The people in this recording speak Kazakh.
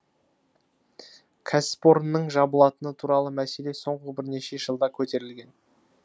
кәсіпорынның жабылатыны туралы мәселе соңғы бірнеше жылда көтерілген